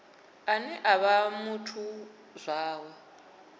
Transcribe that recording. ane a vha muthu zwawe